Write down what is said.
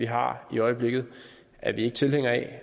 har i øjeblikket er vi ikke tilhængere af